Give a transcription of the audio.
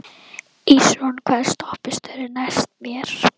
Ísrún, hvaða stoppistöð er næst mér?